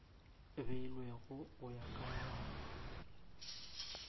beilwego go ya ka molao